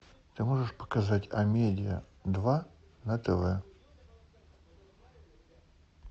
ты можешь показать амедиа два на тв